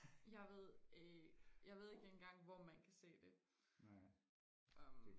jeg ved øh jeg ved ikke engang hvor man kan se det øhm